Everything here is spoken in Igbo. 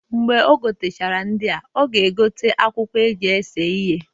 Mgbe o gotechara ndịa, ọ ga-egote akwụkwọ eji ese ihe.